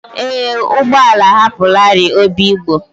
Ee, ụgbọ ala ahapụlarị obigbo.